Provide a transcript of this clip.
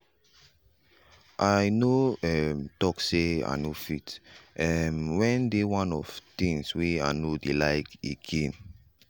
i no um talk say i no fit um when dey one fo things wey i no like again.